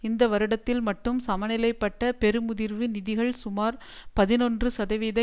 இந்த வருடத்தில் மட்டும் சமநிலைப்பட்ட பெருமுதிர்வு நிதிகள் சுமார் பதினொன்று சதவீத